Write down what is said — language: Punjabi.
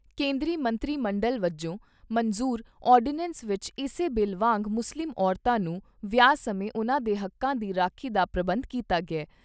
ਕੇਂਦਰੀ ਮੰਤਰੀ ਮੰਡਲ ਵੱਲੋਂ ਮਨਜ਼ੂਰ ਆਰਡੀਨੈਂਸ ਵਿਚ ਇਸੇ ਬਿੱਲ ਵਾਂਗ ਮੁਸਲਿਮ ਔਰਤਾਂ ਨੂੰ ਵਿਆਹ ਸਮੇਂ ਉਨ੍ਹਾਂ ਦੇ ਹੱਕਾਂ ਦੀ ਰਾਖੀ ਦਾ ਪ੍ਰਬੰਧ ਕੀਤਾ ਗਿਆ ।